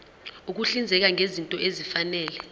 ukuhlinzeka ngezinto ezifanele